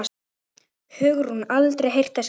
Hugrún: Aldrei heyrt þess getið?